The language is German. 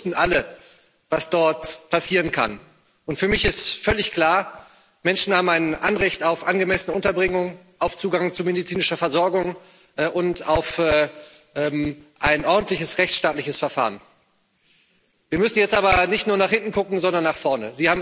Ich glaube, wir wussten alle, was dort passieren kann. Für mich ist völlig klar Menschen haben ein Anrecht auf angemessene Unterbringung, auf Zugang zu medizinischer Versorgung und auf ein ordentliches rechtsstaatliches Verfahren. Wir müssen jetzt aber nicht nur nach hinten gucken, sondern auch nach vorne.